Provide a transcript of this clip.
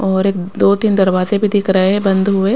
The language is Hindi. और एक दो-तीन दरवाजे भी दिख रहे हैं बंद हुए।